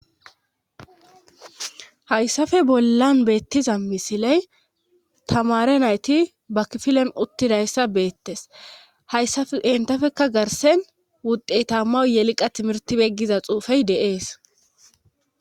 Hayssafe bollan beettiza misiley tamare nayti bakfilen uttidayssa beettes hayssa entafekka garsen wuddhey tamma yeliqa timirtibeggiza xuufey deees